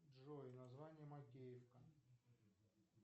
джой название макеевка